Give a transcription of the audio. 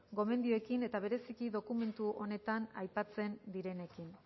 gomendioekin eta bereziki dokumentu honetan aipatzen direnekin